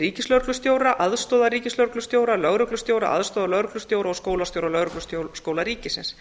ríkislögreglustjóra aðstoðarríkislögreglustjóra lögreglustjóra aðstoðarlögreglustjóra og skólastjóra lögregluskóla ríkisins